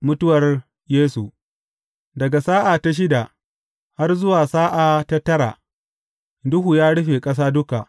Mutuwar Yesu Daga sa’a ta shida, har zuwa sa’a ta tara, duhu ya rufe ƙasa duka.